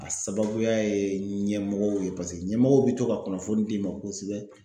A sababuya ye ɲɛmɔgɔw ye paseke ɲɛmɔgɔw be to ka kunnafoni d'i ma kosɛbɛ.